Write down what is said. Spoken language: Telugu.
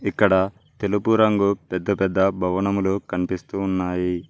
ఇక్కడ తెలుపు రంగు పెద్ద పెద్ద భవనములు కనిపిస్తూ ఉన్నాయి.